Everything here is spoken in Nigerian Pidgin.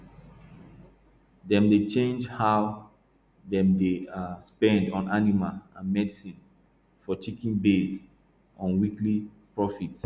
dem dey change how dem dey um spend on animal food and medicine for chicken based on weekly profit